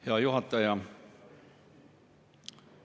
Hea juhataja!